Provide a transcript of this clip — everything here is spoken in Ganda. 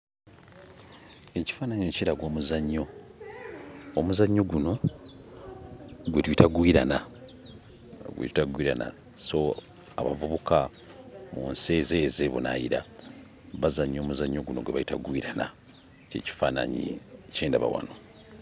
Ekifaananyi ekyo kiraga omuzannyo. Omuzannyo guno gwe tuyita gwirana, baguyita gwirana. So abavubuka mu nsi ez'ebunaayira bazannya omuzannyo guno gwe bayita gwirana; ky'ekifaananyi kye ndaba wano.